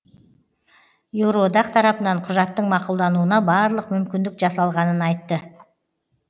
еуроодақ тарапынан құжаттың мақұлдануына барлық мүмкіндік жасалғанын айтты